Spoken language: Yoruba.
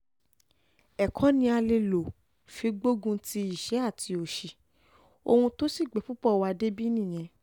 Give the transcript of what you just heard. ẹ̀kọ́ ni a lè lọ fi gbógun ti ìṣẹ́ àti òṣì ohun tó sì gbé púpọ̀ wa débi nìyẹn